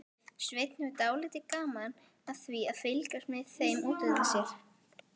Svenni hefur dálítið gaman af því að fylgjast með þeim út undan sér.